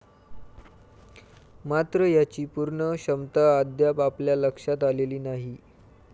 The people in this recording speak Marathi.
मात्र याची पूर्ण क्षमता अद्याप आपल्या लक्षात आलेली नाही.